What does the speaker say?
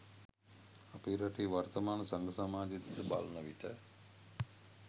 අපේ රටේ වර්තමාන සංඝ සමාජය දෙස බලන විට